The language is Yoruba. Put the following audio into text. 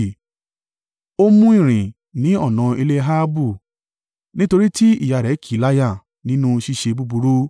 Ó mú ìrìn ní ọ̀nà ilé Ahabu. Nítorí tí ìyá rẹ̀ kì í láyà nínú ṣíṣe búburú.